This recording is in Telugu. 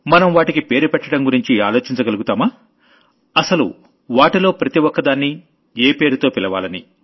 మనం వాటికి పేరు పెట్టడం గురించి ఆలోచించగలుగుతామా అసలు వాటిలో ప్రతి ఒక్కదాన్నీ ఏ పేరుతో పిలవాలని